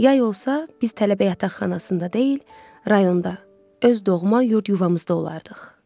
Yay olsa biz tələbə yataqxanasında deyil, rayonda, öz doğma yurd yuvamızda olardıq.